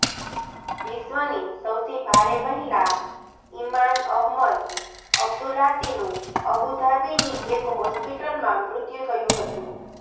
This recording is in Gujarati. વિશ્વની સૌથી ભારે મહિલા ઇમાન અહમદ અબ્દુલાતીનું અબુધાબીની એક હોસ્પિટલમાં મૃત્યુ થયું હતું